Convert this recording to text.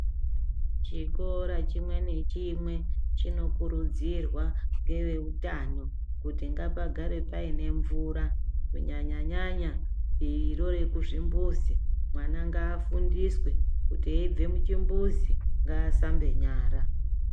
Chikora chimwe nechimwe chinokurudzirwa ngeveutano kuti ngapagare paine mvura kunyanya nyanya diviro rekuzvimbuzi. Mwana ngaafundiswe kuti eibve kuchimbuzi, ngaashambe nyara.